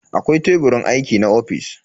Akwai Teburin aiki a ofis.